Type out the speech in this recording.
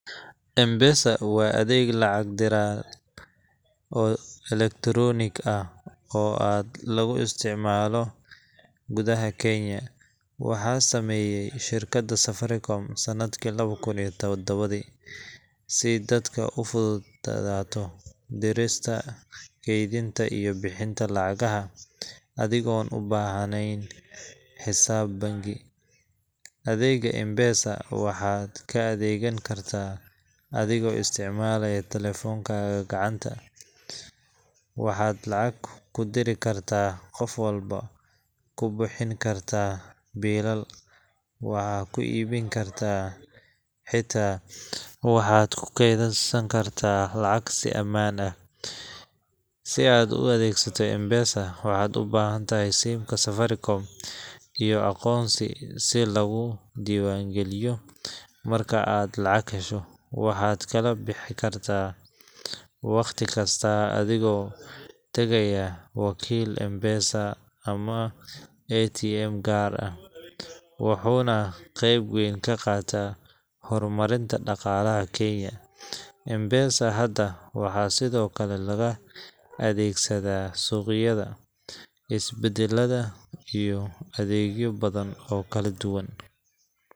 M-Pesa waa adeeg lacag-diraal oo elektaronic ah oo aad loogu isticmaalo gudaha Kenya. Waxaa sameeyay shirkadda Safaricom sanadkii lawada kun iyo taddawadii, si dadka u fududaato dirista, kaydinta, iyo bixinta lacagaha adigoon u baahnayn xisaab bangi. Adeegga M-Pesa waxaad ka adeegan kartaa adigoo isticmaalaya taleefonkaga gacanta. Waxaad lacag ku diri kartaa qof walbo, ku bixin kartaa biilal, waxaa ku iibin kartaa, xitaa waxaad ku kaydsan kartaa lacag si amaan ah. Si aad u adeegsato M-Pesa[c], waxaad u baahantahay SIM ka Safaricom iyo aqoonsi si laguu diiwaangeliyo. Marka aad lacag hesho, waxaad kala baxi kartaa wakhti kasta adigoo tagaya wakiil M-Pesa ama ATM gaar ah. wuxuuna qeyb weyn ka qaatay horumarinta dhaqaalaha Kenya. M-Pesa hadda waxaa sidoo kale laga adeegsadaa suuqyada, isbitaallada, iyo adeegyo badan oo kala duwan.